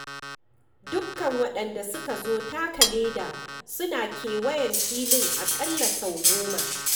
Dukkan waɗanda suka zo taka leda suna kewayen fili aƙalla sau goma.